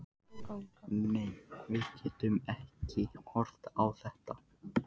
Nei, við getum ekki horft upp á þetta.